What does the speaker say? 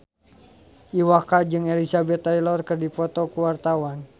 Iwa K jeung Elizabeth Taylor keur dipoto ku wartawan